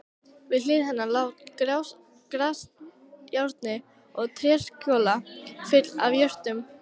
Við hlið hennar lá grasajárnið og tréskjóla full af jurtum.